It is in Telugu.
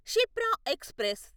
షిప్రా ఎక్స్ప్రెస్